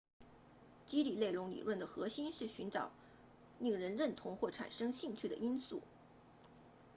激励内容理论的核心是寻找令人认同或产生兴趣的因素